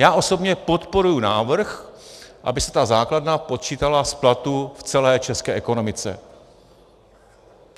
Já osobně podporuji návrh, aby se ta základna počítala z platů v celé české ekonomice.